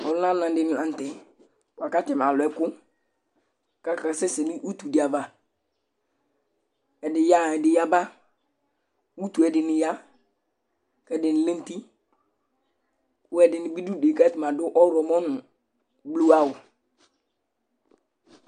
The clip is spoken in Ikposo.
Ɔlʋnananɩ dɩnɩ la nʋ tɛ bʋa kʋ atanɩ alʋ ɛkʋ kʋ akasɛsɛ nʋ utu dɩ ava Ɛdɩ yaɣa, ɛdɩ yaba Utu yɛ ɛdɩnɩ ya kʋ ɛdɩnɩ lɛ nʋ uti kʋ ɛdɩnɩ bɩ dʋ udu yɛ kʋ atanɩ adʋ ɔɣlɔmɔ nʋ bluawʋ